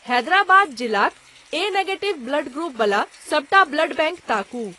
हैदराबाद जिलाक A negative blood group बला सबटा ब्लड बैंक ताकू।